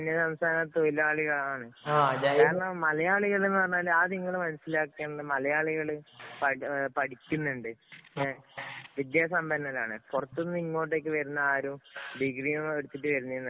അന്യസംസ്ഥാന തൊഴിലാളികള്‍ ആണ്. മലയാളികള്‍ എന്ന് പറഞ്ഞാല് ആദ്യം നിങ്ങള് മനസിലാക്കേണ്ടത് മലയാളികള് പഠിക്കുന്നുണ്ട്. വിദ്യാസമ്പന്നരാണ്. പുറത്ത് നിന്ന് ഇങ്ങോട്ട് വരുന്ന ആരും ഡിഗ്രി ഒന്നും എടുത്തിട്ടു വരുന്നയൊന്നും അല്ല.